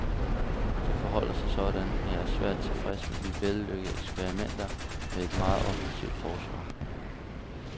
Det forholder sig sådan, at jeg er svært tilfreds med de vellykkede eksperimenter med et meget offensivt forsvar.